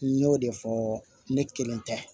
N y'o de fɔ ne kelen tɛ